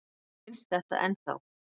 Mér finnst þetta ennþá.